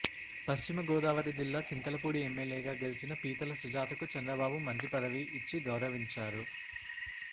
పశ్చిమ గోదావరి జిల్లా చింతలపూడి ఎమ్మెల్యేగా గెలిచిన పీతల సుజాతకు చంద్రబాబు మంత్రి పదవి ఇచ్చి గౌరవించారు